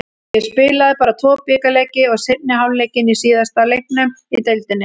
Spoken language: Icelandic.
Ég spilaði bara tvo bikarleiki og seinni hálfleikinn í síðasta leiknum í deildinni.